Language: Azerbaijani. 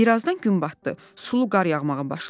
Birazdan gün batdı, sulu qar yağmağa başladı.